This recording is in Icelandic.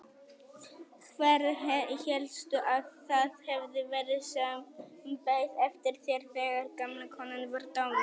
Hver hélstu að það hefði verið sem beið eftir þér þegar gamla konan var dáin?